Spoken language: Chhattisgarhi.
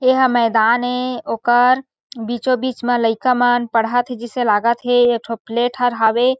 ये ह मैदान हे ओकर बीचोबिच में लइका मन पढ़त हे जैसे लगत हे एक ठो प्लेट हर हवे --